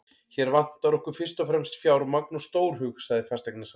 Hér vantar okkur fyrst og fremst fjármagn og stórhug, sagði fasteignasalinn.